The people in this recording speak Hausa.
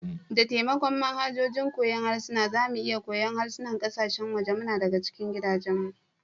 Da taimakon manhajojin koyon harsuna, za mu iya koyon harsunan kasashen waje muna daga cikin gidajenmu.